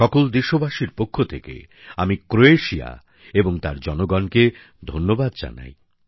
সকল দেশবাসীর পক্ষ থেকে আমি ক্রোয়েশিয়া এবং তার জনসাধারণকে ধন্যবাদ জানাই